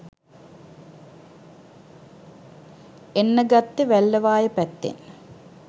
එන්න ගත්තෙ වැල්ලවාය පැත්තෙන්.